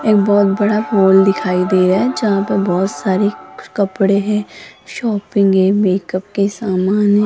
एक बहुत बड़ा हॉल दिखाई दे रहा है जहां पर बहुत सारे कपड़े हैं शॉपिंग है मेकअप के समान हैं।